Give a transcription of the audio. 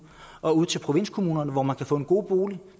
og ud til provinskommunerne hvor man kan få en god bolig